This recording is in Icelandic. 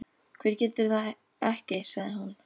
Hver getur það ekki? sagði hún.